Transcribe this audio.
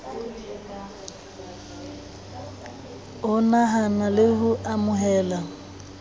ho nahana le ho amohela